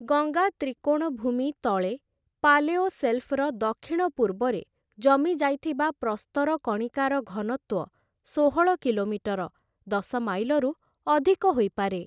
ଗଙ୍ଗା ତ୍ରିକୋଣଭୂମି ତଳେ, ପାଲେଓସେଲ୍ଫର ଦକ୍ଷିଣପୂର୍ବରେ ଜମିଯାଇଥିବା ପ୍ରସ୍ତର କଣିକାର ଘନତ୍ଵ ଷୋହଳ କିଲୋମିଟର, ଦଶ ମାଇଲରୁ ଅଧିକ ହୋଇପାରେ ।